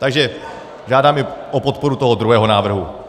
Takže žádám i o podporu toho druhého návrhu.